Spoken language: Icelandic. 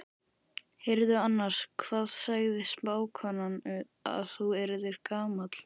Heyrðu annars, hvað sagði spákonan að þú yrðir gamall?